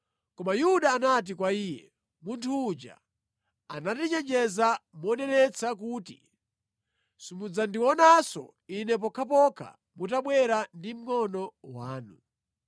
Koma Yuda anati kwa iye, “Munthu uja anatichenjeza monenetsa kuti, ‘Simudzandionanso ine pokhapokha mutabwera ndi mngʼono wanu.’